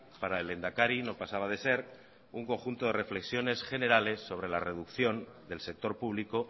para el lehendakari no pasaba de ser un conjunto de reflexiones generales sobre la reducción del sector público